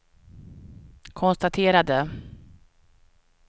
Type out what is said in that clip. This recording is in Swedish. konstaterade